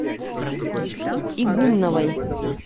игумновой